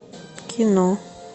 кино